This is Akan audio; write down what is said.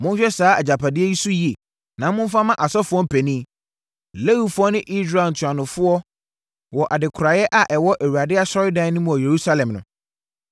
Monhwɛ saa agyapadeɛ yi so yie, na momfa mma asɔfoɔ mpanin, Lewifoɔ ne Israel ntuanofoɔ wɔ adekoraeɛ a ɛwɔ Awurade asɔredan no mu wɔ Yerusalem no.”